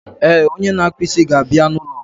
Eh, onye na akpa isi ga abịa na ụlọ